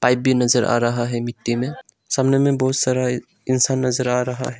AB नजर आ रहा है मिट्टी में सामने में बहुत सारा इंसान नजर आ रहा है।